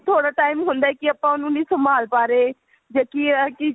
ਥੋੜਾ time ਹੁੰਦਾ ਕਿ ਆਪਾਂ ਉਹਨੂੰ ਨਹੀਂ ਸੰਭਾਲ ਪਾ ਰਹੇ ਜਦ ਕੀ ਇਹ ਹੈ ਕੀ